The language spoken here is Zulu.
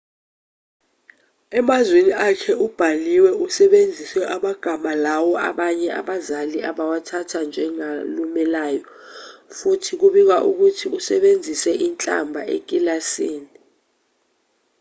emazwini akhe abhaliwe usebenzise amagama lawo abanye abazali abawathatha njengalumelayo futhi kubikwa ukuthi usebenzise inhlamba ekilasini